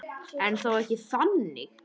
En þó ekki þannig.